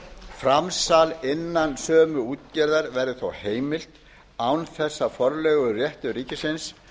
framsal innan sömu útgerðar verður þó heimilt án þess að forleiguréttur ríkisins